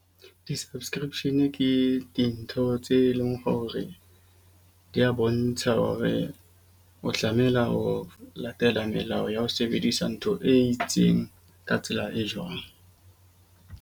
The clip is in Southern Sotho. Di-subscription ke dintho tse leng hore dia bontsha hore o tlamela ho latela melao ya ho sebedisa ntho e itseng ka tsela e jwang.